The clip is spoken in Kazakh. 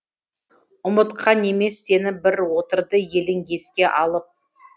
ұмытқан емес сені бір отырды елің еске алып